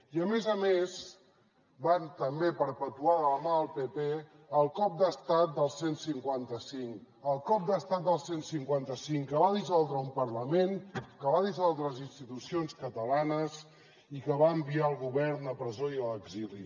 i a més a més van també perpetuar de la mà del pp el cop d’estat del cent i cinquanta cinc el cop d’estat del cent i cinquanta cinc que va dissoldre un parlament que va dissoldre les institucions catalanes i que va enviar el govern a presó i a l’exili